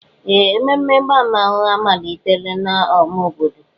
Ee! Ememe ịgba mmanwụ amalitela n'ámá obodo.